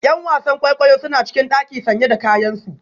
’Yan wasan kwaikwayo suna cikin daki sanye da kayansu